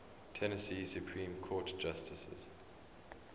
tennessee supreme court justices